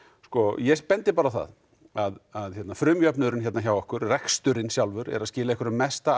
ég bendi bara á það að frumjöfnuðurinn hérna hjá okkur reksturinn sjálfur er að skila einhverjum mesta